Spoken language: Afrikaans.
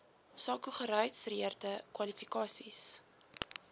sako geregistreerde kwalifikasies